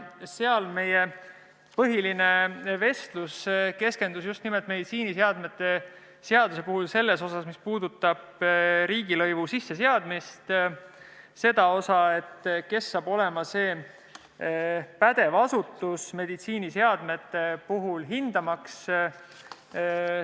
Seal meie põhiline vestlus keskendus nimelt meditsiiniseadme seaduse puhul riigilõivu sisseseadmise sellele osale, et kes saab olema pädev asutus meditsiiniseadmete puhul seda hindamaks.